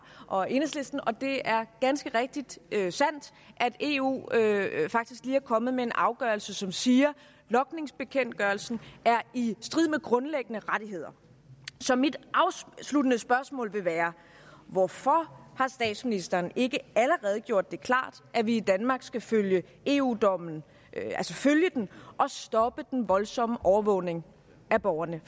og enhedslisten og det er ganske rigtigt at eu faktisk lige er kommet med en afgørelse som siger at logningsbekendtgørelsen er i strid med grundlæggende rettigheder så mit afsluttende spørgsmål vil være hvorfor har statsministeren ikke allerede gjort det klart at vi i danmark skal følge eu dommen og stoppe den voldsomme overvågning af borgerne